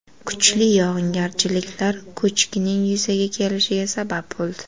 Kuchli yog‘ingarchiliklar ko‘chkining yuzaga kelishiga sabab bo‘ldi.